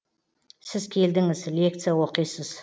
сіз келдіңіз лекция оқисыз